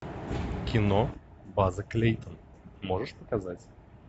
кино база клейтон можешь показать